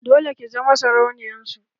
Dole ki zama sarauniyar su!